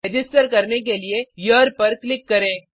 register करने के लिए हेरे पर क्लिक करें